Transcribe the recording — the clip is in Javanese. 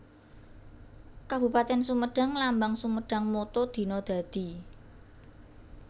Kabupatèn SumedangLambang SumedangMotto Dina Dadi